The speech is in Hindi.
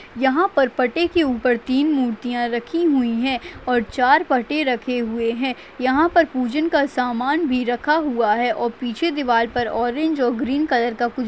यहाँ पर पटे के ऊपर तीन मूर्तिया रखी हुई हैं और चार पटे रखे हुये हैं यहाँ पर पूजन का सामान भी रखा हुआ हैं और पीछे दीवाल पर ऑरेंज और ग्रीन कलर का कुछ--